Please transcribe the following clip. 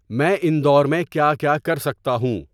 میں اندور میں کیا کیا کر سکتا ہوں